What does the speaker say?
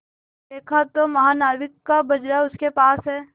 देखा तो महानाविक का बजरा उसके पास है